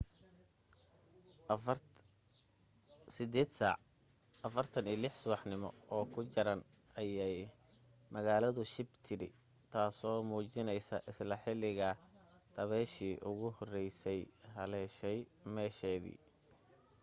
8:46 subaxnimo oo ku jaran ayay magaaladu shib tidhi taaso muujinaysa isla xilliga dabayshii ugu horraysay haleeshay meesheedii